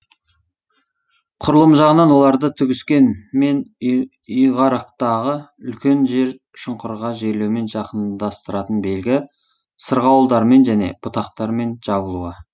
құрылымы жағынан оларды түгіскен мен үйгарақтагы үлкен жер шұңқырға жерлеумен жақындастыратын белгі сырғауылдармен және бұтақтармен жабылуы